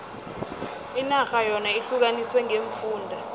inarha yona ihlukaniswe ngeemfunda